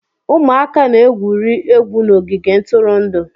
Ụmụaka na-egwuri egwu n'ogige ntụrụndụ.